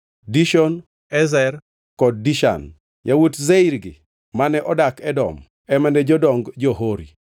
Dishon, Ezer, kod Dishan. Yawuot Seir gi, mane odak Edom ema ne jodong jo-Hori.